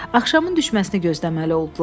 Axşamın düşməsini gözləməli oldular.